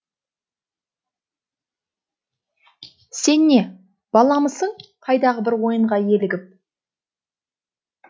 сен не баламысың қайдағы бір ойынға елігіп